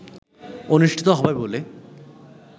অনুষ্ঠিত হবে বলে